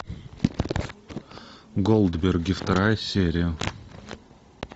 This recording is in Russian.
голдберги вторая серия